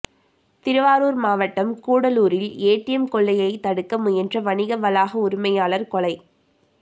திருவாரூர் மாவட்டம் கூடலூாரில் ஏடிஎம் கொள்ளையை தடுக்க முயன்ற வணிக வளாக உரிமையாளர் கொலை